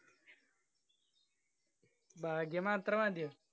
ഭാഗ്യം മാത്രം മതിയോ?